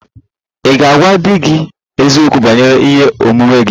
Ị̀ ga-agwa di gị eziokwu banyere ihe omume gị?